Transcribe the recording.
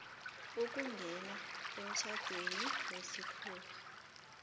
ukungena emtjhadweni wesikhuwa